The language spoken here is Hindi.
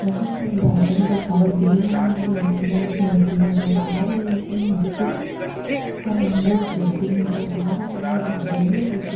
यहाँ पर एक गार्डन दिखाई दे रहा है जिसमें एक मूर्ति नज़र आ रही है मूर्ति का रंग स्लेटी नज़र आ रहा है गार्डन में पीछे --